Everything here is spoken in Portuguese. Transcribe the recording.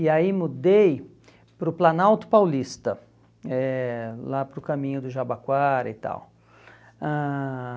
E aí mudei para o Planalto Paulista, eh lá para o caminho do Jabaquara e tal. Ãh